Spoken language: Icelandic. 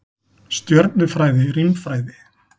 Stjörnufræði, rímfræði.